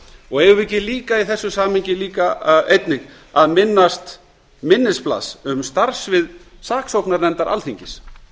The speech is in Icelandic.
og eigum ekki líka í þessu samhengi einnig að minnast minnisblaðs um starfssvið saksóknarnefndar alþingis